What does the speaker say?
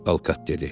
Alkat dedi.